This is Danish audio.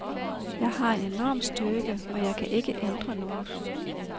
Jeg har en enorm styrke, jeg kan ikke ændre noget.